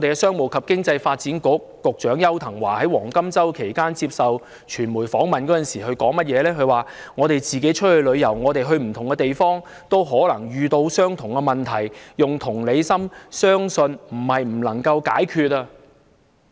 商務及經濟發展局局長邱騰華在"黃金周"期間接受傳媒訪問，他說："我們自己出去旅遊，我們去不同地方，都可能遇到相同問題，用同理心，相信不是不能解決"。